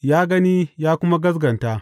Ya gani ya kuma gaskata.